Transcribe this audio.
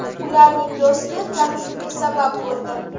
Ularning do‘sti tanishuvga sabab bo‘ldi.